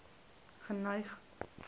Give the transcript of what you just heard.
geneig